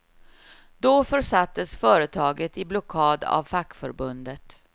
Då försattes företaget i blockad av fackförbundet.